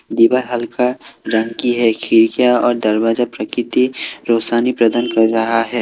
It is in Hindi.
दीवार हल्का रंग की है खिड़कियां और दरवाजा प्रकृति रोशनी प्रदान कर रहा है।